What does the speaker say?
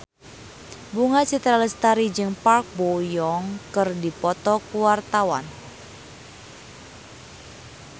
Bunga Citra Lestari jeung Park Bo Yung keur dipoto ku wartawan